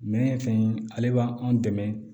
Minɛn fɛn in ale b'an dɛmɛ